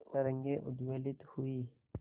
तरंगे उद्वेलित हुई